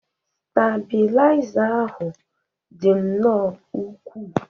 stabilizer ahụ dị nnọọ ukwuu